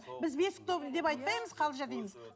біз бесік той деп айтпаймыз қалжа дейміз